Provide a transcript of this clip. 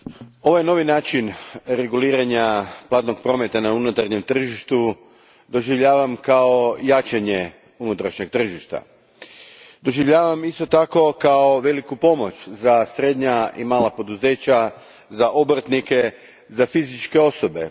Gospođo predsjednice, ovaj novi način reguliranja platnog prometa na unutarnjem tržištu doživljavam kao jačanje unutarnjeg tržišta. Doživljavam i kao veliku pomoć za srednja i mala poduzeća, obrtnike, fizičke osobe.